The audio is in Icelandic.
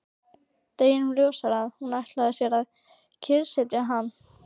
Deginum ljósara að hún ætlar sér að kyrrsetja hann!